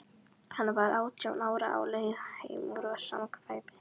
Hann var átján ára, á leið heim úr samkvæmi.